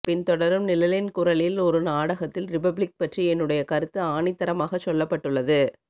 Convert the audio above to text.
பின் தொடரும் நிழலின் குரலில் ஒருநாடகத்தில் ரிபப்ளிக் பற்றி என்னுடைய கருத்து ஆணித்தரமாகச் சொல்லப்பட்டுள்ளது